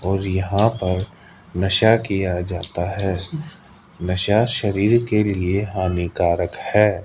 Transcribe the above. और यहां पर नशा किया जाता है नशा शरीर के लिए हानिकारक है।